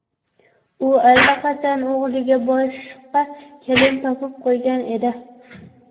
U allaqachon o‘g‘liga boshqa kelin topib qo‘ygan edi.